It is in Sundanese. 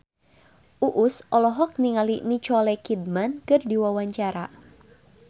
Uus olohok ningali Nicole Kidman keur diwawancara